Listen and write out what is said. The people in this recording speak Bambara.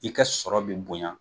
I ka sɔrɔ bi bonya